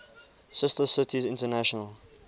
sister cities international